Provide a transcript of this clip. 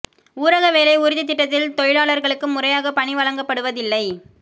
ஊரக வேலை உறுதித் திட்டத்தில் தொழிலாளா்களுக்கு முறையாக பணி வழங்கப்படுவதில்லை